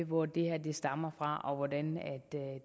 hvor det her stammer fra og hvordan